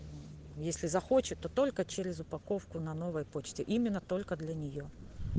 если захочет то только через упаковку на новой почте именно только для нее